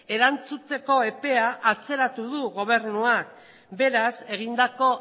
erantzuteko epea atzeratu du gobernuak beraz egindako